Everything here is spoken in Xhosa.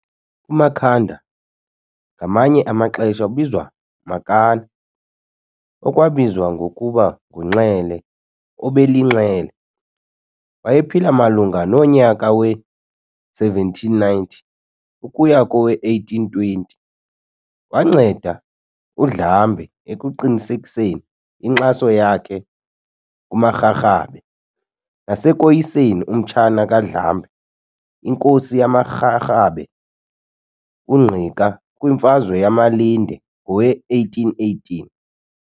UMakhanda ngamanye amaxesha obizwa Makana, okwabizwa ngokuba nguNxele, obelinxele, wayephila malunga nonyaka we-1790 ukuya kowe-1820. Wanceda uNdlambe ekuqinisekiseni inkxaso yakhe kumaRharhabe nasekoyiseni umtshana kaNdlambe, inkosi yamaRharhabe uNgqika kwimfazwe yamaLinde ngowe-1818.